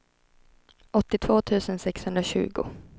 åttiotvå tusen sexhundratjugo